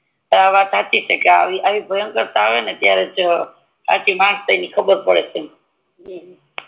આ વાત હચી છે કે આવી ભાંકર્તા આવે ને ત્યારેજ સાચી માણસાઈ ની ખબર પડે